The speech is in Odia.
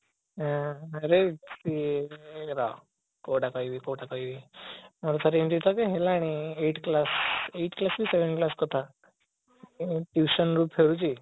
ଏଁ ରହ କୋଉଟା କହିବି କୋଉଟା କହିବି ମୋର ଥରେ ଏମିତି ତଥାବି ହେଲାଣି eight class eight class କି seven class କଥା tuition ରୁ ଫେରୁଛି